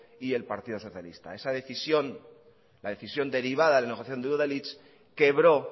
y el partido socialista esa decisión la decisión derivada de la negociación de udalhitz quebró